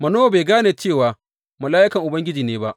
Manowa bai gane cewa mala’ikan Ubangiji ne ba.